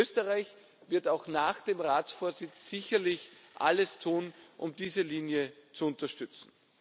Österreich wird auch nach dem Ratsvorsitz sicherlich alles tun, um diese Linie zu unterstützen.